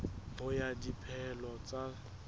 ho ya ka dipehelo tsa